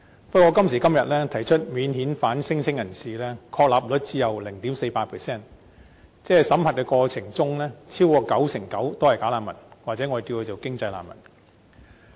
不過，今時今日，提出免遣返聲請人士，確立率只有 0.48%， 即審核的過程中超過九成九是"假難民"，或可稱之為"經濟難民"。